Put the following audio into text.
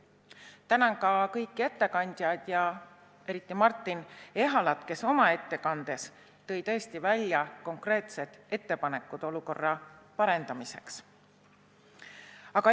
Tänan ka kõiki ettekandjaid ja eriti Martin Ehalat, kes tõi oma ettekandes välja konkreetsed ettepanekud olukorra parandamiseks.